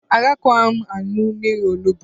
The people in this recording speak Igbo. Agakwaghị m aṅụ mmiri onugbo.